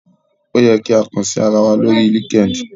Ó yẹ kí a kàn sí ara wa lórí LinkedIn